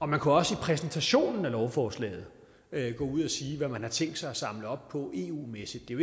man kunne også i præsentationen af lovforslaget gå ud og sige hvad man har tænkt sig at samle op på eu mæssigt det er